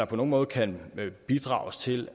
på nogen måde kan bidrage til